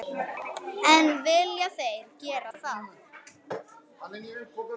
En vilja þeir gera það?